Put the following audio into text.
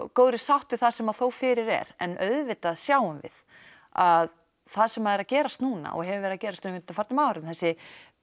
góðri sátt við það sem fyrir er en auðvitað sjáum við að það sem er að gerast núna og hefur verið að gerast á undanförnum árum þessi